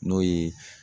N'o ye